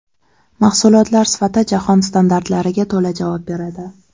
Mahsulotlar sifati jahon standartlariga to‘la javob beradi.